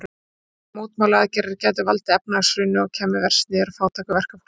Hann sagði að mótmælaaðgerðirnar gætu valdið efnahagshruni og kæmu verst niður á fátæku verkafólki.